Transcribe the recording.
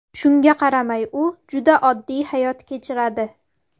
Shunga qaramay, u juda oddiy hayot kechiradi.